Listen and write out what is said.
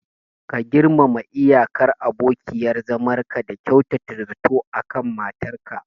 Ka girmama iyakar abokiyar zamanka da kyautata zato akan matar ka.